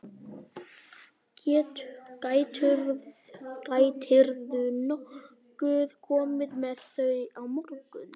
Gætirðu nokkuð komið með þau á morgun?